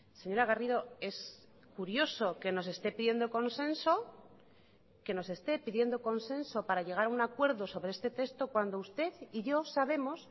señora garrido es curioso que nos esté pidiendo consenso que nos esté pidiendo consenso para llegar a un acuerdo sobre este texto cuando usted y yo sabemos